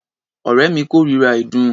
Ọ̀rẹ́ mi kórira ìdun.